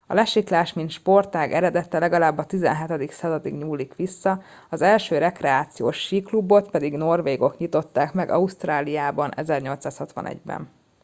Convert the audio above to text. a lesiklás mint sportág eredete legalább a 17. századig nyúlik vissza az első rekreációs síklubot pedig norvégok nyitották meg ausztráliában 1861 ben